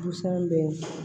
Busan bɛ